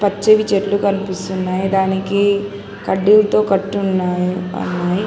పచ్చని చెట్లు కనిపిస్తున్నాయి దానికి కడ్డీలతో కట్టి ఉన్నాయి.